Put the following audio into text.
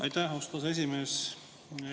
Aitäh, austatud aseesimees!